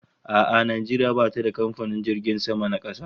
A'a, Najeriya bata da kamfanin jiragen sama na kasa